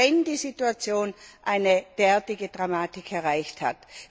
wenn die Situation eine entsprechende Dramatik erreicht hat.